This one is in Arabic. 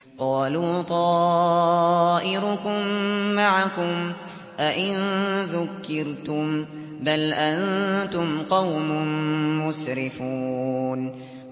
قَالُوا طَائِرُكُم مَّعَكُمْ ۚ أَئِن ذُكِّرْتُم ۚ بَلْ أَنتُمْ قَوْمٌ مُّسْرِفُونَ